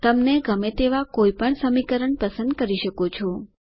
તમને ગમે તેવા કોઈ પણ સમીકરણ પસંદ કરી શકો છો